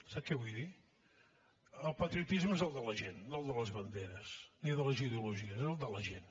sap què vull dir el patriotisme és el de la gent no el de les banderes ni de les ideologies és el de la gent